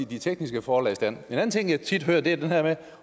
de tekniske forhold i stand en anden ting jeg tit hører er det her med